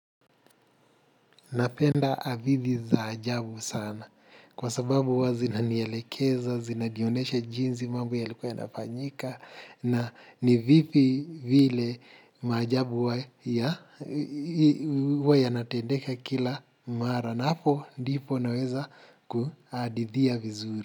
Napenda hadithi za ajabu sana kwa sababu huwa zinanielekeza, zinajioneshe jinsi mambo yalikuwa yanafanyika na ni vipi vile maajabu huwa yanatendeka kila mara na hapo ndipo naweza kuhadithia vizuri.